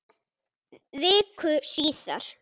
Viku síðar.